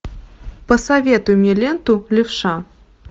посоветуй мне ленту левша